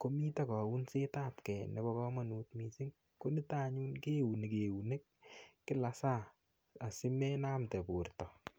komito kounset ap kee nebo komonut mising nito anyun keuni keunek en kila saa asi menamte bortangung